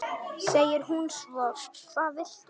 segir hún svo: Hvað viltu?